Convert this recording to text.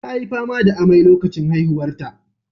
Ta yi fama da amai lokacin haihuwarta.